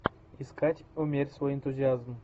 искать умерь свой энтузиазм